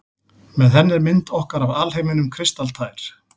Með henni er mynd okkar af alheiminum kristaltær.